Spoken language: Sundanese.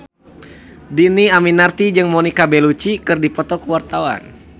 Dhini Aminarti jeung Monica Belluci keur dipoto ku wartawan